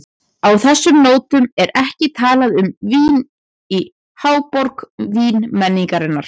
Á þessum nótum er ekki talað um vín í háborg vínmenningar.